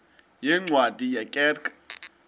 yeencwadi ye kerk